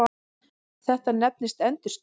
Þetta nefnist endurskin.